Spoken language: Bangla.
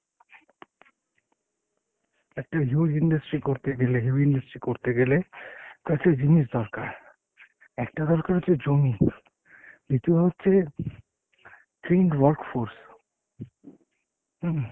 একটা huge industry করতে গেলে heavy industry করতে গেলে কয়েকটা জিনিস দরকার। একটা দরকার হচ্ছে জমি, দ্বিতীয় হচ্ছে trained work force উম